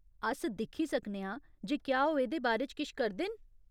अस दिक्खी सकने आं जे क्या ओह् एह्दे बारे च किश करदे न।